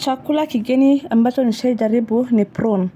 Chakula kigeni ambacho nishaijaribu ni prune.